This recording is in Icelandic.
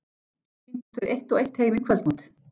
Svo tíndust þau eitt og eitt heim í kvöldmat.